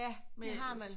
Ja det har man